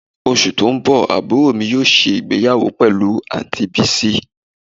Osu to n bo aburo mi yoo se igbeyawo pelu anti Bisi